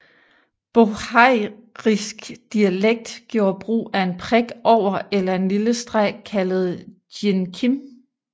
Bohairisk dialekt gjorde brug af en prik over eller en lille streg kaldet djinkim